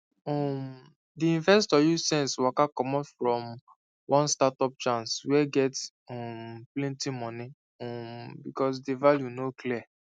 um di investor use sense waka commot from one startup chance wey get um plenty money um because di value no clear